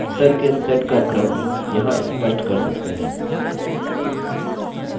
हम उत्तर के set का क्रम यहाँ स्पष्ट कर सकते हैं